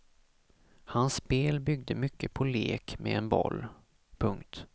Hans spel byggde mycket på lek med en boll. punkt